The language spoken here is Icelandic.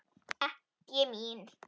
Ekki mín.